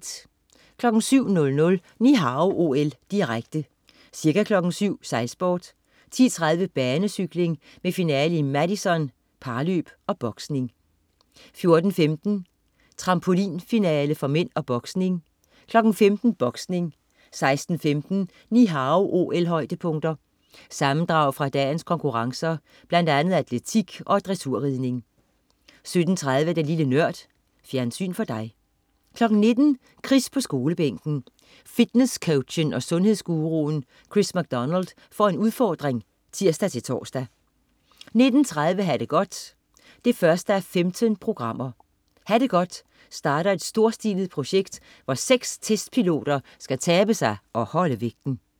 07.00 Ni Hao OL, direkte. Ca. kl. 7.00: Sejlsport. 10.30: Banecykling med finale i Madison (parløb) og boksning. 14.15: Trampolinfinale for mænd og boksning. 15.00: Boksning 16.15 Ni Hao OL-højdepunkter. Sammendrag fra dagens konkurrencer, blandt andet atletik og dressurridning 17.30 Lille Nørd. Fjernsyn for dig 19.00 Chris på Skolebænken. Fitnesscoachen og sundhedsgruruen Chris MacDonald får en udfordring (tirs-tors) 19.30 Ha' det godt 1:15. "Ha' det godt" starter et storstilet projekt, hvor 6 testpiloter skal tabe sig og holde vægten